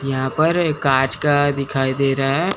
यहां पर ये कांच का दिखाई दे रहा है।